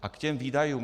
A k těm výdajům.